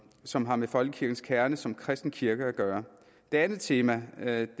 som har med folkekirkens kerne som kristen kirke at gøre det andet tema er